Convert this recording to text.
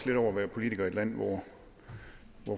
lidt over at være politiker i et land hvor